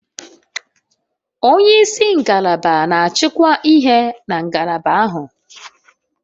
Onye isi ngalaba na-achịkwa ihe na ngalaba ahụ